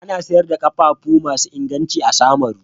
Ana sayar da ƙafafu masu inganci a Samaru.